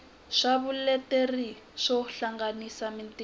swa vuleteri swo hangalasa mitirho